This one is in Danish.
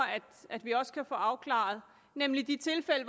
vi også kan få afklaret nemlig de tilfælde